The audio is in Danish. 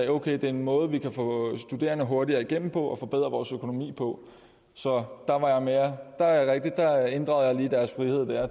okay det er en måde vi kan få studerende hurtigere igennem på og forbedre vores økonomi få så der er det rigtigt der ændrede jeg lige deres frihed